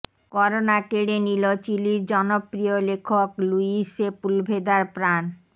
corona কেড়ে নিল চিলির জনপ্রিয় লেখক লুইস সেপুলভেদার প্রাণ